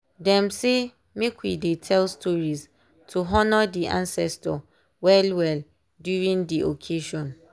dem sey make we dey tell stories to honor dey ancestor well well during dey occasion.